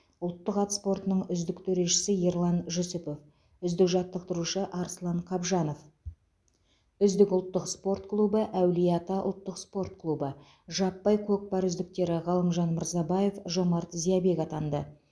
ұлттық ат спортының үздік төрешісі ерлан жүсіпов үздік жаттықтырушы арслан қабжанов үздік ұлттық спорт клубы әулие ата ұлттық спорт клубы жаппай көкпар үздіктері ғалымжан мырзабаев жомарт зиябек атанды